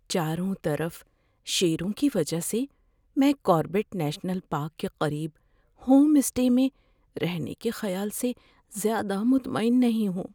چاروں طرف شیروں کی وجہ سے میں کاربیٹ نیشنل پارک کے قریب ہوم اسٹے میں رہنے کے خیال سے زیادہ مطمئن نہیں ہوں۔